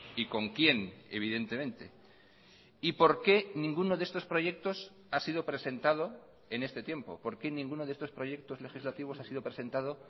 y con quién evidentemente y por qué ninguno de estos proyectos ha sido presentado en este tiempo por qué ninguno de estos proyectos legislativos ha sido presentado